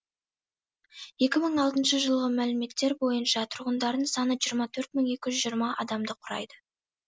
екі мың алтыншы жылғы мәліметтер бойынша тұрғындарының саны жиырма төрт мың екі жүз жиырма адамды құрайды